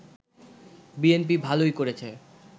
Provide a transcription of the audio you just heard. BNP ভালোই করেছে